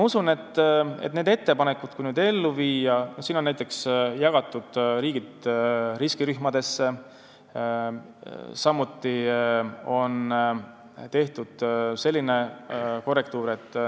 Siin on näiteks jagatud riigid riskirühmadesse, samuti on tehtud teatud korrektuur.